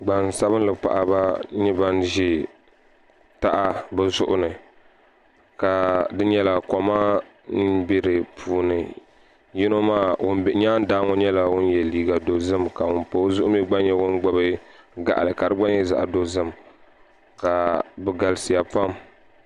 Gbansabinli paɣaba n nyɛ ban ʒi taha bi zuɣu ni ka di koma n bɛ di puuni ŋun bɛ nyaandaa ŋo nyɛla ŋun yɛ liiga dozim ka ŋun pa o zuɣu mii gba nyɛ ŋun gbubi gaɣali ka di gba nyɛ zaɣ dozim bi galisiya pam